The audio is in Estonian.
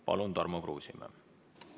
Palun, Tarmo Kruusimäe!